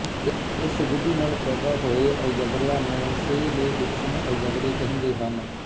ਇਸ ਵਿਧੀ ਨਾਲ ਪੈਦਾ ਕੀਤੇ ਹੋਏ ਅਲਜਬਰਿਆਂ ਨੂੰ ਸੇਅਲੇਅਡਿੱਕਸਨ ਅਲਜਬਰੇ ਕਹਿੰਦੇ ਹਨ